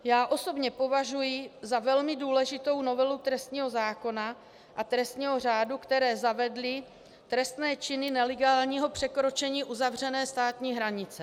Já osobně považuji za velmi důležitou novelu trestního zákona a trestního řádu, které zavedly trestné činy nelegálního překročení uzavřené státní hranice.